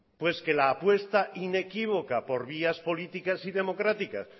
pues que la apuesta inequívoca por vías políticas y democráticas